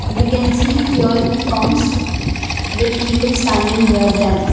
We can see fuel pumps with people standing near them.